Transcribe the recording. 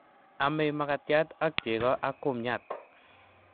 Amei makatiat akcheko ak kumnyat